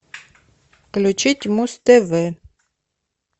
включить муз тв